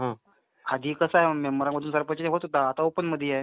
आधी कसं is not Clear मधून सरपंच होत होता आता ओपन मधी आहे.